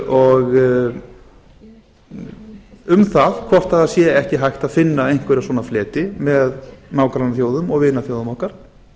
upp svona hugmyndum um það hvort ekki sé hægt að finna einhverja svona fleti með nágrannaþjóðum og vinaþjóðum okkar